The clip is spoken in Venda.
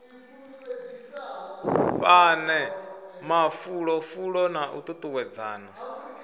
fhane mafulufulo na u tutuwedzana